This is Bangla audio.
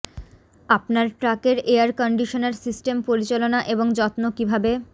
আপনার ট্রাক এর এয়ার কন্ডিশনার সিস্টেম পরিচালনা এবং যত্ন কিভাবে